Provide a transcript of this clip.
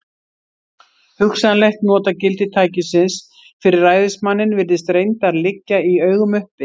Hugsanlegt notagildi tækisins fyrir ræðismanninn virðist reyndar liggja í augum uppi.